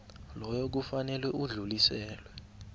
loyo kufanele udluliselwe